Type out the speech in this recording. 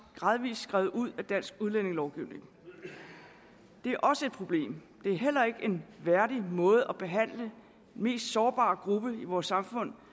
gradvis er skrevet ud af dansk udlændingelovgivning det er også et problem det er heller ikke en værdig måde at behandle den mest sårbare gruppe i vores samfund